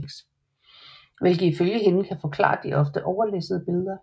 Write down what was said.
Hvilket ifølge hende kan forklare de ofte meget overlæssede billeder